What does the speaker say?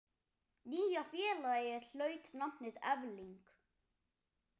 Nýja félagið hlaut nafnið Efling.